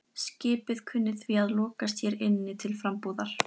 Skipið kunni því að lokast hér inni til frambúðar.